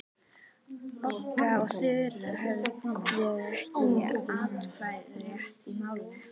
Bogga og Þura höfðu ekki atkvæðisrétt í málinu.